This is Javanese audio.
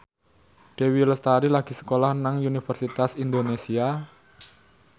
Dewi Lestari lagi sekolah nang Universitas Indonesia